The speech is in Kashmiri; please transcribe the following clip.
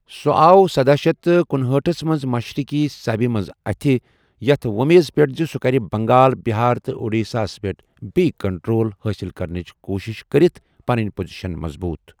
سُہ آو سدہَ شیتھ تہٕ کنُہأٹھ منٛز مشرقی سبہِ منٛز أتھۍ، یَتھ وۅمیذ پٮ۪ٹھ زِ سُہ کرِ بنگال، بہار تہٕ اڈیشاہس پٮ۪ٹھ بییٚہِ کنٹرول حٲصل کرنٕچ کوٗشِش کٔرِتھ پنٕنۍ پوزیشن مضبوط ۔